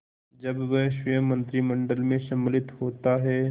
जब वह स्वयं मंत्रिमंडल में सम्मिलित होता है